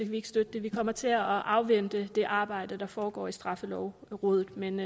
vi ikke støtte det vi kommer til at afvente det arbejde der foregår i straffelovrådet men